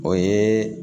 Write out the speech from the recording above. O ye